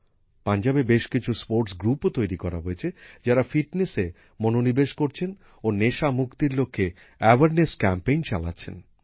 পাঞ্জাবে খেলাধুলার বেশ কিছু গোষ্ঠী তৈরি করা হয়েছে যারা ফিটনেসে মনোনিবেশ করছেন ও নেশামুক্তির লক্ষ্যে সচেতনতা কর্মসূচী চালাচ্ছেন